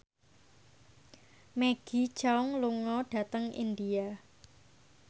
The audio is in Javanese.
Maggie Cheung lunga dhateng India